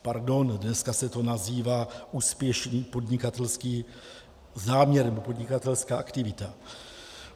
Pardon, dneska se to nazývá úspěšný podnikatelský záměr nebo podnikatelská aktivita.